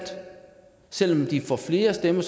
selv om de får flere stemmer